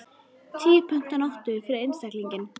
Tíu pund á nóttu fyrir einstaklinginn.